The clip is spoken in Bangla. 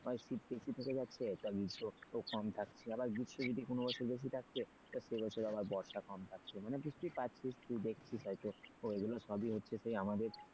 হয় শীত বেশি থেকে যাচ্ছে তো আবার গ্রীষ্ম কম থাকছে আবার আবার গ্রীষ্ম যদি কোন বছর বেশি থাকছে তো সে বছর আবার বর্ষা কম থাকছে মানে বুঝতেই পারছিস তুই দেখছিস হয়তো এগুলো সবই হচ্ছে সেই আমাদের,